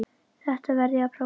Þetta verð ég að prófa